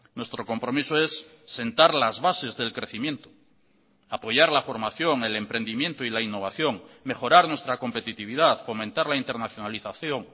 nuestro compromiso es sentar las bases del crecimiento apoyar la formación el emprendimiento y la innovación mejorar nuestra competitividad fomentar la internacionalización